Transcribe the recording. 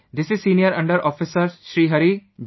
This is senior under Officer Sri Hari G